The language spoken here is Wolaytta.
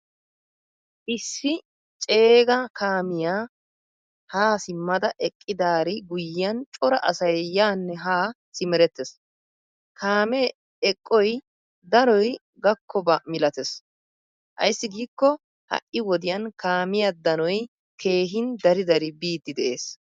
Issi ceegaa kaamiyaa ha simada eqqidari guyiyan cora asay yaane ha simerettees. Kaame eqqoy danoy gakkobba milattees. Ayssi giikko ha'i wodiyan kaamiyaa danoy keehin dari dari biidi de'ees.